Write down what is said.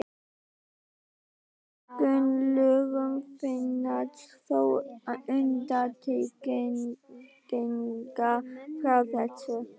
Í einstökum lögum finnast þó undantekningar frá þessu.